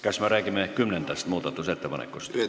Kas me räägime kümnendast muudatusettepanekust?